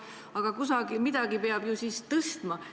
Aga kusagil midagi peab tõstma.